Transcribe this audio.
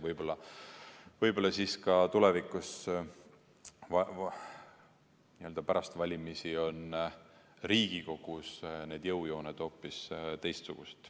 Võib-olla siis tulevikus pärast valimisi on Riigikogus need jõujooned hoopis teistsugused.